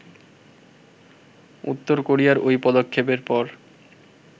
উত্তর কোরিয়ার ওই পদক্ষেপের পর